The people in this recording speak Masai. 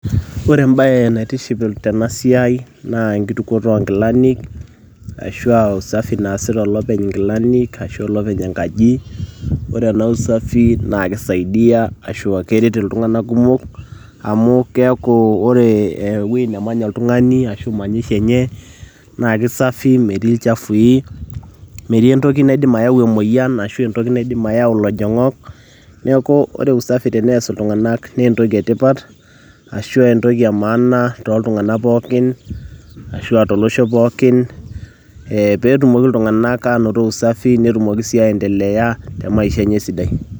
ore embaye naitiship tenasiai naa enkitukuoto onkilanik ashua usafi naasita olopeny inkilanik ashu olopeny enkaji ore ena usafi naa kisaidia ashu keret iltung'anak kumok amu keeku ore ewueji nemanya oltung'ani ashu manyisho enye naa kisafi metii ilchafui metii entoki naidim ayau emoyian ashu entoki naidim ayau ilojong'ok neeku ore usafi teneas iltung'anak naa entoki etipat ashua entoki e maana toltung'anak pookin ashua tolosho pookin eh, petumoki iltung'anak anoto usafi netumoki sii aendeleaya te maisha enye esidai.